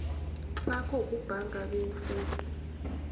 sakho sebhanka bewufeksele